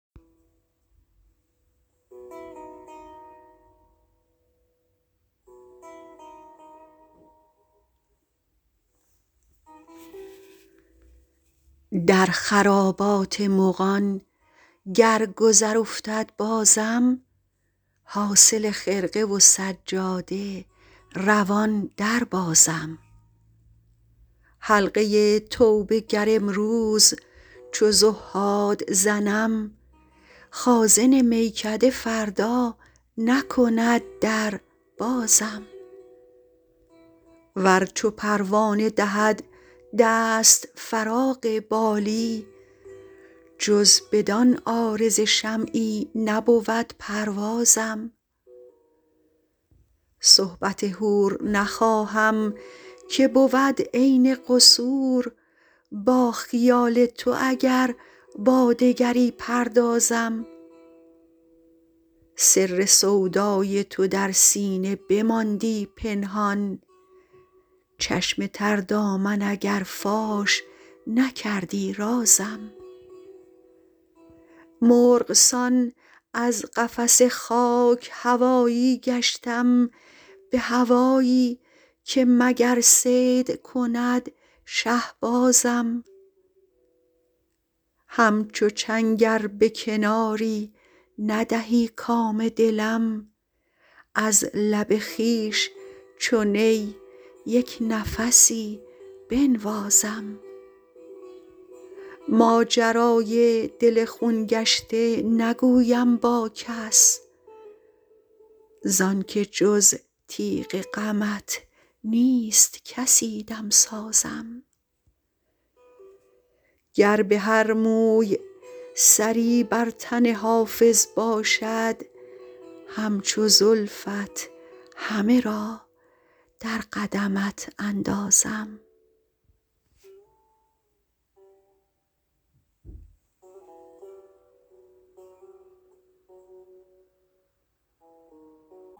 در خرابات مغان گر گذر افتد بازم حاصل خرقه و سجاده روان دربازم حلقه توبه گر امروز چو زهاد زنم خازن میکده فردا نکند در بازم ور چو پروانه دهد دست فراغ بالی جز بدان عارض شمعی نبود پروازم صحبت حور نخواهم که بود عین قصور با خیال تو اگر با دگری پردازم سر سودای تو در سینه بماندی پنهان چشم تر دامن اگر فاش نکردی رازم مرغ سان از قفس خاک هوایی گشتم به هوایی که مگر صید کند شهبازم همچو چنگ ار به کناری ندهی کام دلم از لب خویش چو نی یک نفسی بنوازم ماجرای دل خون گشته نگویم با کس زان که جز تیغ غمت نیست کسی دمسازم گر به هر موی سری بر تن حافظ باشد همچو زلفت همه را در قدمت اندازم